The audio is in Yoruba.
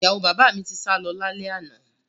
Ìyàwó bàbá mi ti sálọ lálẹ́ àná